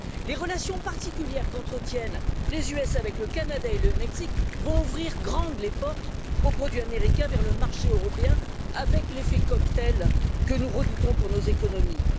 Les relations particulières qu'entretiennent les États Unis avec le Canada et le Mexique vont ouvrir grandes les portes aux produits américains vers le marché européen, avec l'effet cocktail que nous redoutons pour nos économies.